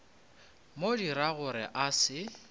mo dira gore a se